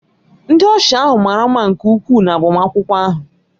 Ndị ọsha ahụ mara mma nke ukwuu na agbamakwụkwọ ahụ